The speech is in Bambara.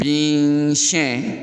Bin siɲɛ